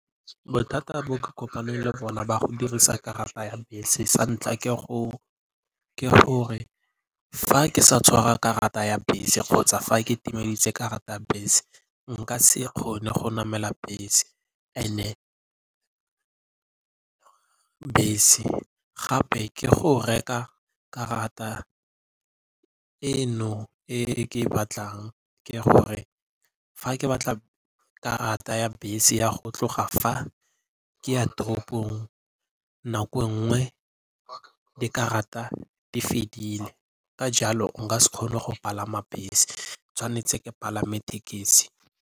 Bothata bo ke kopaneng le bona ba go dirisa karata ya bese, sa ntlha ke gore fa ke sa tshwara karata ya bese kgotsa fa ke timeditse karata ya bese nka se kgone go namela bese and-e bese gape ke go reka karata e ke e batlang ke gore fa ke batla karata ya bese ya go tloga fa ke ya toropong nako nngwe dikarata di fedile. Ka jalo nka se kgone go palama bese tshwanetse ke palame thekisi.